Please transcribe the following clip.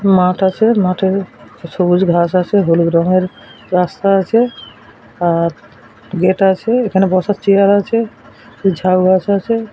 মাঠ আছে মাঠের সবুজ ঘাস আছে হলুদ রঙের রাস্তা আছে আর গেট আছে এখানে বসার চেয়ার আছে ঝাউ গাছ আছে।